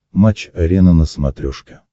матч арена на смотрешке